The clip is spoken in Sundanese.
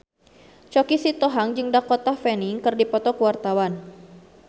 Choky Sitohang jeung Dakota Fanning keur dipoto ku wartawan